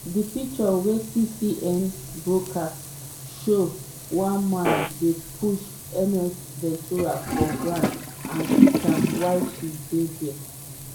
di pictures wey cnn broadcast show one man dey push ms ventura for ground and kick am while she dey dia.